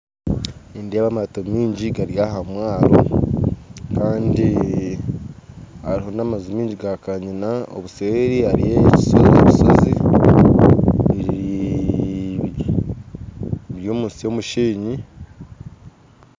Nindeeba amato maingi gari aha mwaaro kandi hariho n'amaju maingi ga kaanyina, obuseeri hariyo ebishozi biri omu nsi y'omusheenyi.